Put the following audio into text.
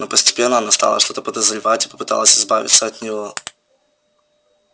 но постепенно она стала что-то подозревать и попыталась избавиться от него